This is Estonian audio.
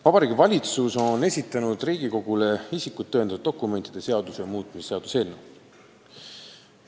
Vabariigi Valitsus on esitanud Riigikogule isikut tõendavate dokumentide seaduse muutmise seaduse eelnõu.